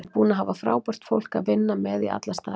Ég er búinn að hafa frábært fólk að vinna með í alla staði.